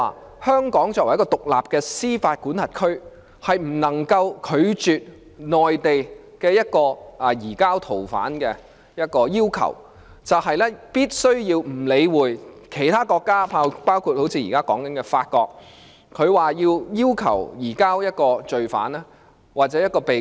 即香港作為獨立的司法管轄區，是不能夠拒絕內地任何一項移交逃犯的要求，以致必須忽略其他國家——包括現在談論中的法國——要求移交罪犯或一名被告。